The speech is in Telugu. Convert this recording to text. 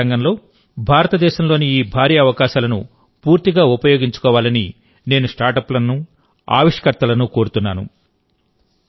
అంతరిక్ష రంగంలో భారతదేశంలోని ఈ భారీ అవకాశాలను పూర్తిగా ఉపయోగించుకోవాలని నేను స్టార్టప్లను ఆవిష్కర్తలను కోరుతున్నాను